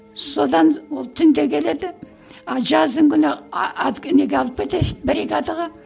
содан ол түнде келеді а жаздың күні а әлгі неге алып кетеді бригадаға